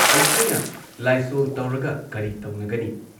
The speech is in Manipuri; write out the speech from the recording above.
"ꯑꯩꯈꯣꯏꯅ ꯂꯥꯏꯁꯣꯜ ꯇꯧꯔꯒ ꯀꯔꯤ ꯇꯧꯅꯒꯅꯤ?